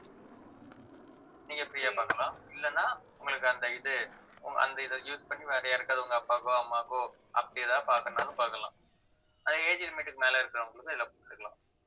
நீங்க free ஆ பார்க்கலாம் இல்லைன்னா உங்களுக்கு அந்த இது ஆஹ் அந்த இதை use பண்ணி வேற யாருக்காவது உங்க அப்பாக்கோ அம்மாவுக்கோ அப்படி ஏதாவது பார்க்கணும்னாலும் பார்க்கலாம் அது age limit க்கு மேல இருக்கிறவங்களுக்கு இதுல கொடுத்துக்கலாம்